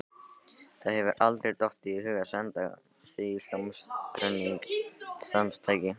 Þér hefur aldrei dottið í hug að senda því hljómflutningstæki?